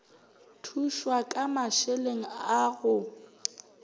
thušwa ka mašeleng a go